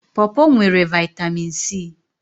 Pọpọ nwere Vị́tamị́n C